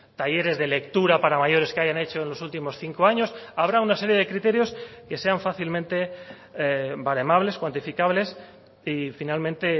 talleres de lectura para mayores que hayan hecho en los últimos cinco años habrá una serie de criterios que sean fácilmente baremables cuantificables y finalmente